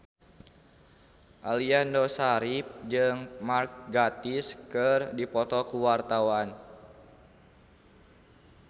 Aliando Syarif jeung Mark Gatiss keur dipoto ku wartawan